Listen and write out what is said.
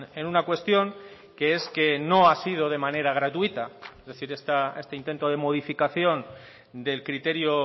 en una cuestión que es que no ha sido de manera gratuita es decir este intento de modificación del criterio